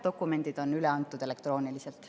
Dokumendid on üle antud elektrooniliselt.